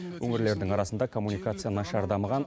өңірлердің арасында коммуникация нашар дамыған